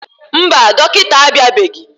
Mba, dọkịta abịabeghị.